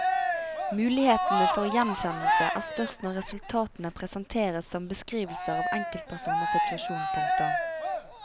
Mulighetene for gjenkjennelse er størst når resultatene presenteres som beskrivelser av enkeltpersoners situasjon. punktum